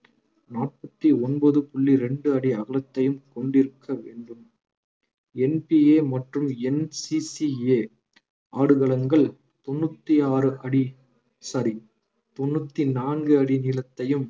நாற்பத்தி ஒன்பது புள்ளி ரெண்டு அடி அகலத்தையும் கொண்டிருக்க வேண்டும் NPA மற்றும் NCCA ஆடுகளங்கள் தொண்ணூத்தி ஆறு அடி sorry தொண்ணூத்தி நான்கு அடி நீளத்தையும்